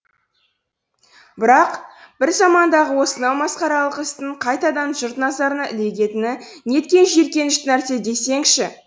бірақ бір замандағы осынау масқаралық істің қайтадан жұрт назарына ілігетіні неткен жиіркенішті нәрсе десеңші